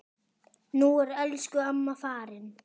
Nú er elsku amma farin.